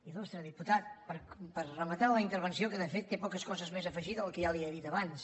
il·putat per rematar la intervenció que de fet té poques coses més a afegir del que ja li he dit abans